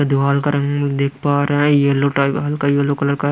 दीवाल का रंग देख पा रहा है यलो टाइप हल्का यलो कलर का है।